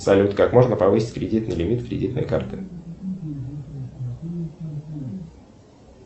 салют как можно повысить кредитный лимит кредитной карты